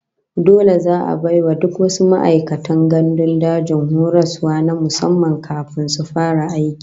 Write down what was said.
Dole za'a bai wa duk wasu ma'aikatan gandun daji horaswa na musamman kafin su fara aiki